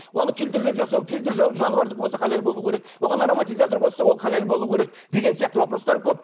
оны фильтрлеп жасау фильтр жануардікі болса халал болуы керек оған ароматизатор қосса ол халал болуы керек деген сияқты вопростар көп